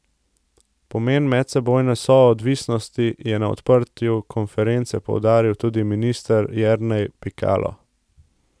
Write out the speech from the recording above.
Pomen medsebojne soodvisnosti je na odprtju konference poudaril tudi minister Jernej Pikalo.